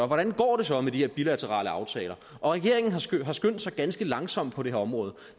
hvordan går det så med de her bilaterale aftaler regeringen har skyndt har skyndt sig ganske langsomt på det her område